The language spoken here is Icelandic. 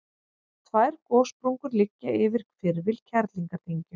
tvær gossprungur liggja yfir hvirfil kerlingardyngju